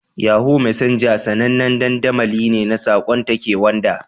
Yahoo Messenger sanannen dandamali ne na saƙon take wanda.